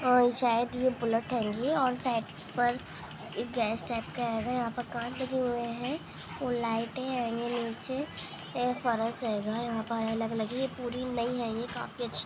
और शायद यह बुलेट हैंगी और साइड पर गैस टाइप का हैगा| यहाँ पर कांच लगे हुए हैं और लाइटें हैगी नीचे अलग-अलग ही यह पूरी नइ है यह काफी अच्छी--